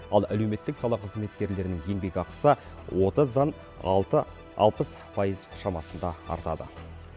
ал әлеуметтік сала қызметкерлерінің еңбекақысы отыздан алты алпыс пайыз шамасында артады